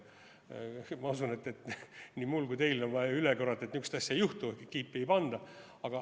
Ma usun, et nii mulle kui ka teile ei ole vaja üle korrata, et niisugust asja ei juhtu, kiipi ei panda.